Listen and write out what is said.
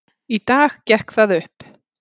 Í dag gekk það upp.